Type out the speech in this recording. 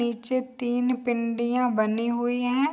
नीचे तीन पिंडियाँ बनी हुई हैं।